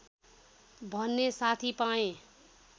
भन्ने साथी पाएँ